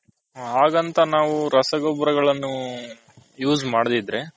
ಅಗಂತ ನಾವು ರಸ ಗೊಬ್ಬರಗಳನ್ನು use ಮಾಡದಿದ್ರೆ.